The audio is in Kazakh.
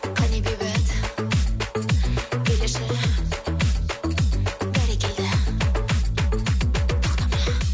қане бейбіт билеші бәрекелді тоқтама